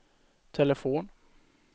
telefon